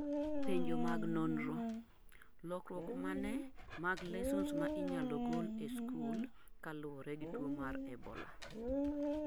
penjo mag nonro: lokruok mane mag lessons ma inyalo gol e skul kaluwore gi tuo mar Ebola?